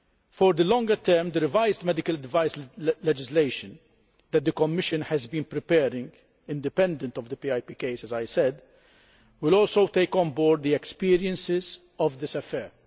For the longer term, the revised medical device legislation that the Commission has been preparing independently of the PIP case, as I said will also take on board the experiences of this affair.